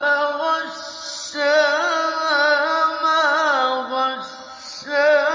فَغَشَّاهَا مَا غَشَّىٰ